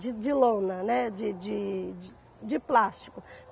de de lona, né de de de plástico.